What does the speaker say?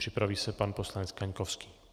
Připraví se pan poslanec Kaňkovský.